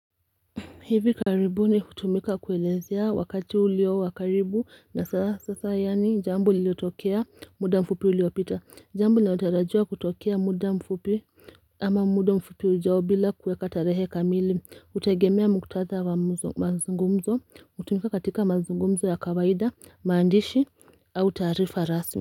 Hivi karibuni utumika kuelezea wakati ulio wa karibu na sasa yani jambo liliotokea muda mfupi uliopita jambo linalotarajiwa kutokea muda mfupi ama muda mfupi ujao bila kueka tarehe kamili utegemea muktadha wa mazungumzo utumika katika mazungumzo ya kawaida maandishi au taarifa rasmi.